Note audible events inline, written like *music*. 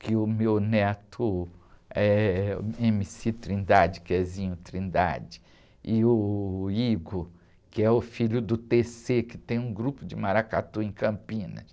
que o meu neto ême-cí Trindade, que é, *unintelligible* e o, *unintelligible* que é o filho do, *unintelligible* que tem um grupo de maracatu em Campinas.